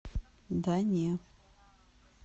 да не